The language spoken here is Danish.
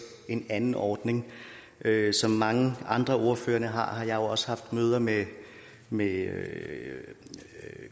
en anden ordning som mange andre ordførere har har jeg også haft møder med med